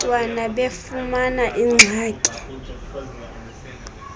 bantwana befumana iingxaki